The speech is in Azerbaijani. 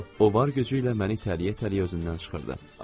O var gücü ilə məni tələyə-tələyə özündən çıxırdı.